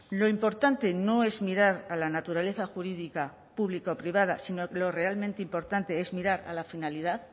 lo importante no es mirar a la naturaleza jurídica público privada sino lo realmente importante es mirar a la finalidad